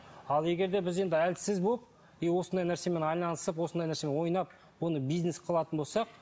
ал егер де біз енді әлсіз болып и осындай нәрсемен айналысып осындай нәрсемен ойнап оны бизнес қылатын болсақ